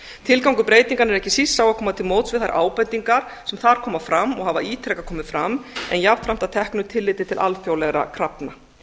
tilgangur breytinganna er ekki síst sá að koma til móts við þær ábendingar sem þar koma fram og hafa ítrekað komið fram en jafnframt að teknu tilliti til alþjóðlegra krafna